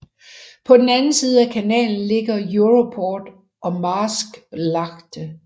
På den anden side af kanalen ligger Europoort og Maasvlakte